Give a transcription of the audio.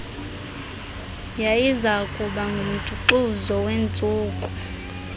yayizakuba ngumjuxuzo wentsuku